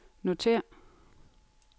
notér